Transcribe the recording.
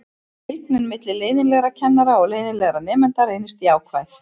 Fylgnin milli leiðinlegra kennara og leiðinlegra nemenda reyndist jákvæð.